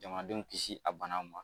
Jamadenw kisi a banaw ma